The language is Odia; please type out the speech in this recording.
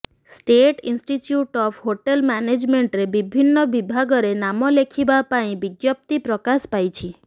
ଷ୍ଟେଟ ଇନଷ୍ଟିଚ୍ୟୁଟ ଅଫ ହୋଟେଲ ମ୍ୟାନେଜମେଣ୍ଟରେ ବିଭିନ୍ନ ବିଭାଗରେ ନାମ ଲେଖିବା ପାଇଁ ବିଜ୍ଞପ୍ତି ପ୍ରକାଶ ପାଇଛି